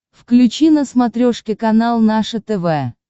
включи на смотрешке канал наше тв